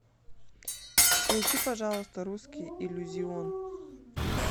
включи пожалуйста русский иллюзион